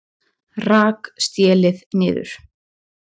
Rak stélið niður